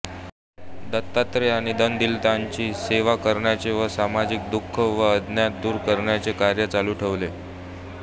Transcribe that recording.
दत्तात्रेयांनी दीनदलितांची सेवा करण्याचे व समाजातील दुःख व अज्ञान दूर करण्याचे कार्य चालू ठेवले